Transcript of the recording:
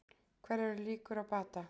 Hverjar eru líkur á bata?